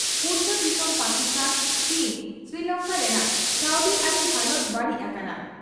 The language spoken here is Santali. ᱯᱩᱲᱥᱟ ᱫᱤᱥᱚᱢ ᱯᱟᱠᱤᱥᱛᱷᱟᱱ, ᱪᱤᱱ, ᱥᱨᱤᱞᱚᱝᱠᱟ ᱨᱮᱱᱟᱜ ᱠᱟᱹᱣᱰᱤᱟᱹᱨᱤ ᱦᱟᱞᱚᱛ ᱵᱟᱹᱲᱤᱡ ᱟᱠᱟᱱᱟ ᱾